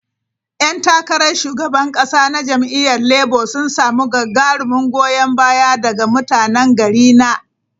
Yan takarar shugaban kasa na jam'iyyar Labour sun samu gagarumin goyon baya daga mutanen garina.